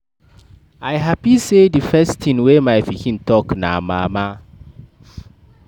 I happy say the first thing wey my pikin talk be mama.